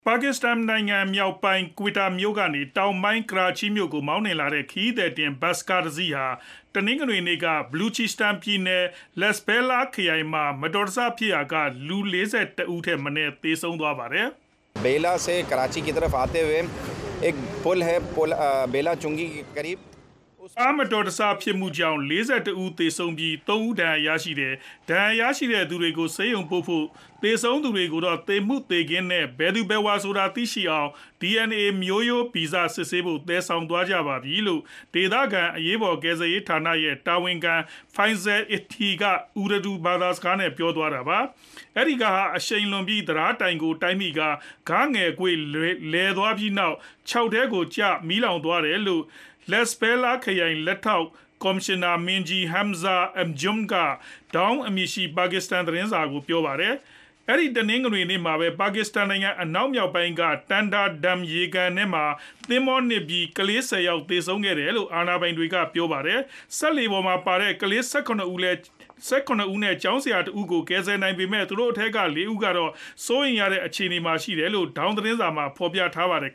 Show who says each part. Speaker 1: ပါကစ္စတန်နိုင်ငံမြောက်ပိုင်း Quetta မြို့ကနေ တောင်ပိုင်း Karachi မြို့ကို မောင်းနှင် သွားတဲ့ ခရီးသည်တင်ဘတ်စ်ကားတစီးဟာ တနင်္ဂနွေနေ့က Balochistan ပြည်နယ် Lasbela ခ
Speaker 2: ရိုင်မှာ မတော်တဆဖြစ်ရာ
Speaker 1: က လူ ၄၁ ဦးထက်မနည်း သေဆုံးသွားပါတယ်။ "ကားမတော်တဆဖြစ်မှုကြောင့် ၄၁ ဦးသေဆုံးပြီး ၃ ဦး ဒဏ်ရာရတယ်။ ဒဏ်ရာရတဲ့သူတွေကိုဆေးရုံပို့ထားပြီး သေဆုံးသူတွေကိုတော့ သေမှုသေခင်းနဲ့ ဘယ်သူဘယ်ဝါဆိုတာသိရှိအောင်လို့ DNA မျိုးရိုးဗီဇစစ်ဆေးဖို့ သယ်ဆောင်သွားကြပါပြီ" လို့ ဒေသခံ အရေးပေါ်ကယ်ဆယ်ရေးဌာနရဲ့တာဝန်ခံ Faisal Edhi က Urdu ဘာသာစကားနဲ့ ပြောသွားတာပါ။ အဲဒီကားဟာအရှိန်လွန်ပြီး တံတားတိုင်ကိုတိုက်မိကာ ဂငယ်ကွေ့ လည်သွားပြီးနောက် ချောက်ထဲကိုကျ မီးလောင်သွားခဲ့တယ်လို့ Lasbela ခရိုင် လက်ထောက် ကော်မရှင်နာမင်းကြီး Hamza Anjumk က Dawn အမည်ရှိ ပါကစ္စတန် သတင်းစာကို ပြောပါတယ်။ တနင်္ဂနွေနေ့မှာပဲ ပါကစ္စတန်နိုင်ငံအနောက်မြောက်ပိုင်းရှိ Tanda Dam ရေကန်ထဲမှာ သင်္ဘောနစ်မြုပ်ပြီး ကလေး ၁ဝ ယောက် သေဆုံးခဲ့တယ်လို့ အာဏာပိုင်တွေက ပြောပါတယ်။ စက်လှေပေါ်မှာပါတဲ့ ကလေး ၁၇ ဦး နဲ့ ကျောင်းဆရာတဦးကို ကယ်ဆယ်နိုင်ခဲ့ပေမဲ့ သူတို့အထဲက ကလေး ၄ ဦးကတော့ စိုးရိမ်ရတဲ့အခြေအနေမှာရှိတယ်လို့ Dawn သတင်းစာမှာ ဖော်ပြထားပါတယ်